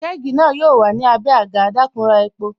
Kẹ́gì na yo wà ní abé agà, dakun ra epo